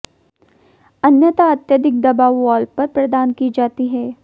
अन्यथा अत्यधिक दबाव वाल्व पर प्रदान की जाती है